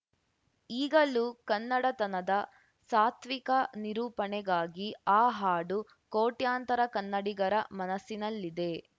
ಈಗಲೂ ಕನ್ನಡತನದ ಸಾತ್ವಿಕ ನಿರೂಪಣೆಗಾಗಿ ಆ ಹಾಡು ಕೋಟ್ಯಂತರ ಕನ್ನಡಿಗರ ಮನಸ್ಸಿನಲ್ಲಿದೆ